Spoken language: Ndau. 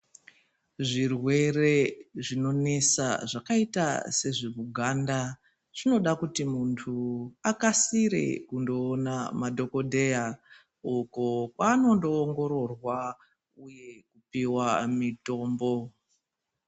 Zvirwere zvinonesa zvakaita sezvemuganda zvinoda kuti muntu akasire kundoona madhokodheya uko kwaanondoongororwa uye kupiwa mitombo.